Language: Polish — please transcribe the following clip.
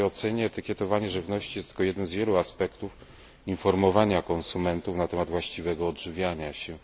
W mojej ocenie etykietowanie żywności jest tylko jednym z wielu aspektów informowania konsumentów na temat właściwego odżywiania się.